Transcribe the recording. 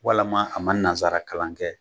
Walima a man nanzara kalan kɛ.